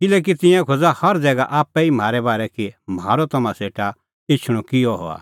किल्हैकि तिंयां खोज़ा हर ज़ैगा आप्पै ई म्हारै बारै कि म्हारअ तम्हां सेटा एछणअ किहअ हुअ